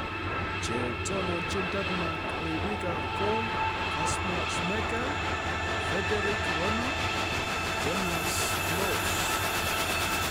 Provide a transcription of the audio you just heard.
Che tononchin Denmark ribiik ab gool: Kasper Schmechel , Fredererik Ronnow , Jonas Loss .